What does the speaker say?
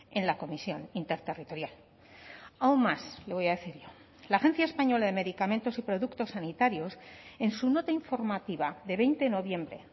en la comisión interterritorial aún más le voy a decir yo la agencia española de medicamentos y productos sanitarios en su nota informativa de veinte noviembre